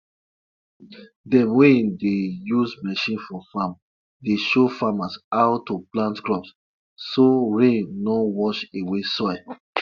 farmers dey whisper to whisper to their animals them believe say e go make their bond strong and give spiritual protection.